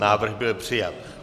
Návrh byl přijat.